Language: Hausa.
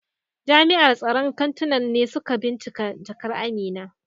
Jami'an tsaron kantunan ne suka binciki jakar Amina.